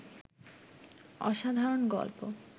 অসাধারন গল্প